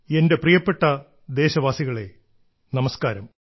എന്റെ പ്രിയപ്പെട്ട ദേശവാസികളെ നമസ്കാരം